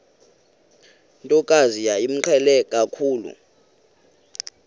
ntokazi yayimqhele kakhulu